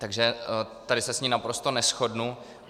Takže tady se s ní naprosto neshodnu.